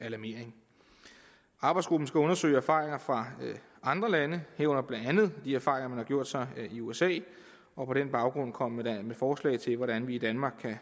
alarmering arbejdsgruppen skal undersøge erfaringer fra andre lande herunder blandt andet de erfaringer man har gjort sig i usa og på den baggrund komme med forslag til hvordan vi i danmark kan